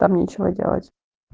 там нечего делать